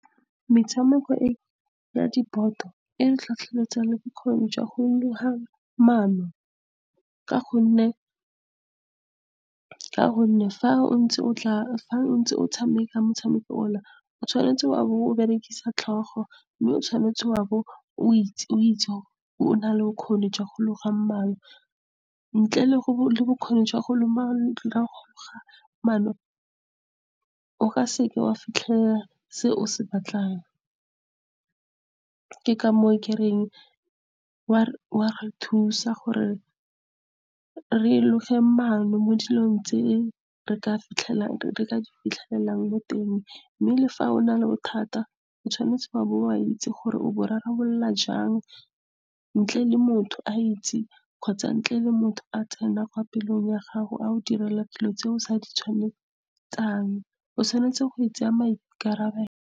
Metshameko ya diboto e tlhotlheletsa le bokgoni jwa go loga maano, ka gonne fa o ntse o tshameka motshameko , o tshwanetse wa bo o berekisa tlhogo, mme o tshwanetse wa bo o na le bokgoni jwa go loga maano. Ntle le bokgoni jwa go loga maano, o ka seke wa fitlhelela se o se batlang. Ke ka moo ke reng o a re thusa gore re loge maano mo dilong tse re ka di fitlhelelang mo teng. Mme le fa o na le bothata, o tshwanetse wa bo o itse gore o bo rarabolola jang, ntle le motho a itse kgotsa ntle le motho a tsena pelong ya gago a go direla dilo tse o sa . O tshwanetse go tsaya maikarabelo.